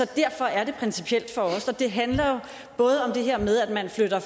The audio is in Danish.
derfor er det principielt for os og det handler både om det her med at man flytter